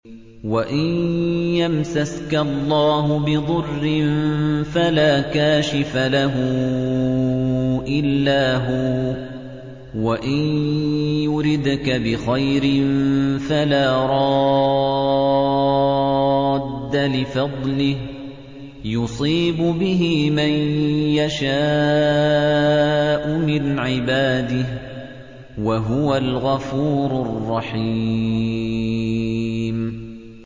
وَإِن يَمْسَسْكَ اللَّهُ بِضُرٍّ فَلَا كَاشِفَ لَهُ إِلَّا هُوَ ۖ وَإِن يُرِدْكَ بِخَيْرٍ فَلَا رَادَّ لِفَضْلِهِ ۚ يُصِيبُ بِهِ مَن يَشَاءُ مِنْ عِبَادِهِ ۚ وَهُوَ الْغَفُورُ الرَّحِيمُ